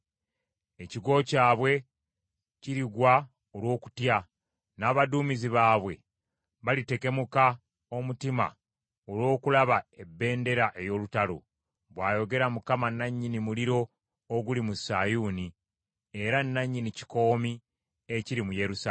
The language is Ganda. Ekigo kyabwe kirigwa olw’okutya, n’abaduumizi baabwe balitekemuka omutima olw’okulaba ebbendera ey’olutalo,” bw’ayogera Mukama nannyini muliro oguli mu Sayuuni, era nannyini kikoomi ekiri mu Yerusaalemi.